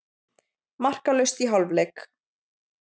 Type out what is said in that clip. Markalaust í hálfleik.